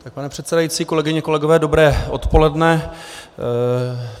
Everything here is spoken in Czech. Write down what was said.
Pane předsedající, kolegyně, kolegové, dobré odpoledne.